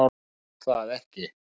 Þú mátt það ekki!